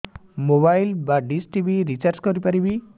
mobile ବା dish TV recharge କରି ପାରିବି